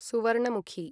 Suvarnamukhi